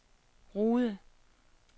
Rude